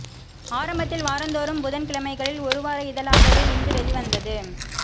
ஆரம்பத்தில் வாரந்தோறும் புதன் கிழமைகளில் ஒரு வார இதழாகவே இந்து வெளிவந்தது